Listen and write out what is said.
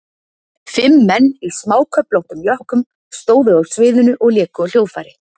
Fimm menn í smáköflóttum jökkum stóðu á sviðinu og léku á hljóðfæri.